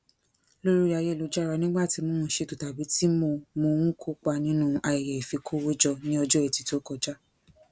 lórí ayélujára nígbà tí mo ń ṣètò tàbí tí mo mo ń kópa nínú ayẹyẹ ifikowójọ ní ọjọ ẹti tó kọjá